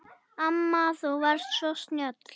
Amma þú varst svo snjöll.